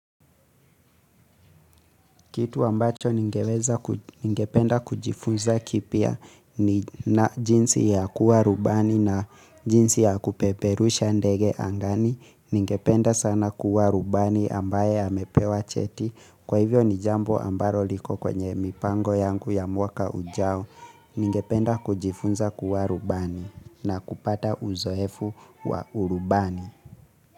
Kitu ambacho ningeweza, ningependa kujifunza kipya ni na jinsi ya kuwa rubani na jinsi ya kupeperusha ndege angani, ningependa sana kuwa rubani ambaye amepewa cheti, kwa hivyo ni jambo ambalo liko kwenye mipango yangu ya mwaka ujao, Ningependa kujifunza kuwa rubani na kupata uzoefu wa urubani.